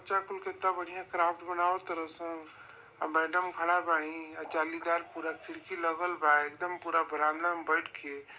केतना बढ़िया क्राफ्ट बनावतर सन आ मैडम खाड़ा बाड़ी और जालीदार पुरा खिड़की लागल बा एकदम पूरा बरामदा में बैठ के --